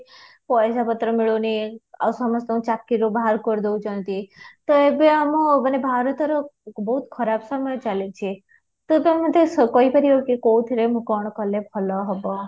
ପଇସା ପତ୍ର ମିଳୁନି ଆଉ ସମସ୍ତଙ୍କୁ ଚାକିରୀ ରୁ ବାହାର କରି ଦଉଚନ୍ତି ତ ଏବେ ଆମର ଭାରତର ବୋହୁତ ଖରାପ ସମୟ ଚାଲିଛି ତ ତମେ ମୋତେ କହିପାରିବ କି କୋଉଥିରେ କ'ଣ କଲେ ମୋର ଭଲ ହବ,